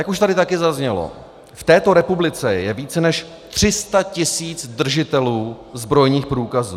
Jak už tady taky zaznělo, v této republice je více než 300 tisíc držitelů zbrojních průkazů.